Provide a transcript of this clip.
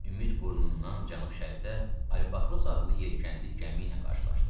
Ümid burnundan cənub-şərqdə Albatros adlı yelkənli gəmi ilə qarşılaşdıq.